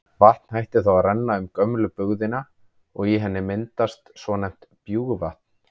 Vatn hættir þá að renna um gömlu bugðuna og í henni myndast svonefnt bjúgvatn.